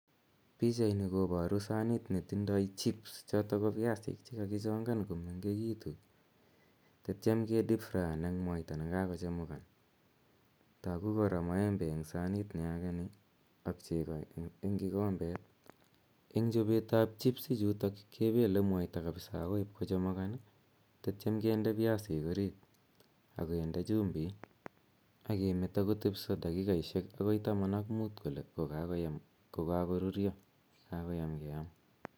Pichani koparu sanit netindai chips chotok ko piasik che kakichongan komengekitu atiam ke dipfraan eng' mwaita ne kakochemukan. Tagu kora maembe eng' sanit na age ni ak cheko kikombet. Eng' chopet ap chips ichutok kepele mwaita kapsa akoi ipkochemuka tatiam kende piasik orit ak kinde chumbik ak kemeto kotepisa dakikaishek akoi taman ak mut kole ko kakorurya, kakoyam keam.